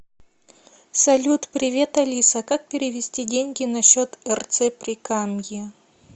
салют привет алиса как перевести деньги на счет рц прикамье